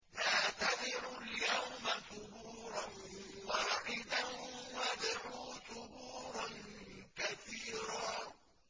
لَّا تَدْعُوا الْيَوْمَ ثُبُورًا وَاحِدًا وَادْعُوا ثُبُورًا كَثِيرًا